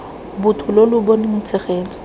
botho lo lo boneng tshegetso